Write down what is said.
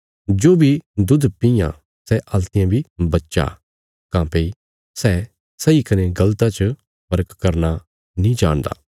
जो बी दुध पीआं सै हल्तियें बी बच्चा काँह्भई सै सही कने गल़ता च फर्क करना नीं जाणदा